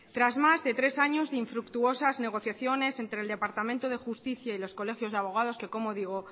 tras más de tres años de infructuosas negociaciones entre el departamento de justicia y los colegios de abodagos que como digo